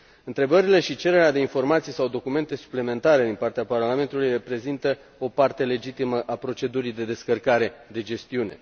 Întrebările și cererea de informații sau documente suplimentare din partea Parlamentului reprezintă o parte legitimă a procedurii de descărcare de gestiune.